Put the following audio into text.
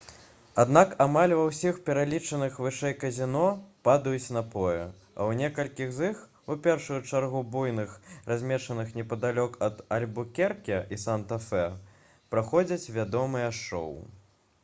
аднак амаль ва ўсіх пералічаных вышэй казіно падаюць напоі а ў некалькіх з іх у першую чаргу буйных размешчаных непадалёк ад альбукерке і санта-фе праходзяць вядомыя шоу